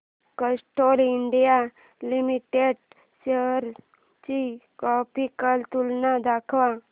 Castrol India limited shares ची graphical तुलना दाखव